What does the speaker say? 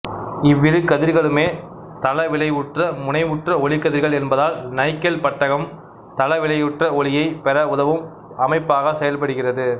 இவ்விரு கதிர்களுமே தளவிளைவுற்ற முனைவுற்ற ஒளிக்கதிர்கள் என்பதால் நைக்கல் பட்டகம் தளவிளைவுற்ற ஒளியைப் பெற உதவும் அமைப்பாகச் செயல்படுகிறது